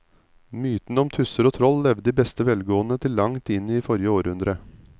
Mytene om tusser og troll levde i beste velgående til langt inn i forrige århundre.